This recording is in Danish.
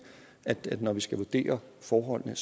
når vi skal vurdere forholdene